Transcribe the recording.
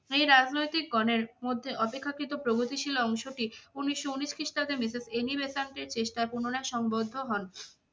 এই রাজনৈতিক গণের মধ্যে অপেক্ষাকৃত প্রগতিশীল অংশটি উনিশশো উনিশ খ্রিস্টাব্দে Mrs অ্যানি বেসান্তের চেষ্টায় পুনরায় সংবর্ধ হন।